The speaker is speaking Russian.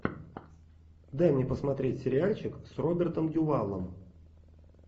дай мне посмотреть сериальчик с робертом дювалом